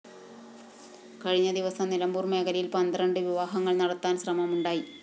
കഴിഞ്ഞ ദിവസം നിലമ്പൂര്‍ മേഖലയില്‍ പന്ത്രണ്ട് വിവാഹങ്ങള്‍ നടത്താന്‍ ശ്രമമുണ്ടായി